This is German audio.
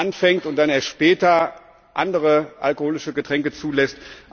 anfängt und dann erst später andere alkoholische Getränke zulässt.